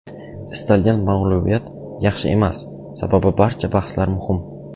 Istalgan mag‘lubiyat yaxshi emas, sababi barcha bahslar muhim.